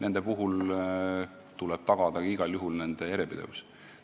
Igal juhul tuleb tagada nende järjepidevus.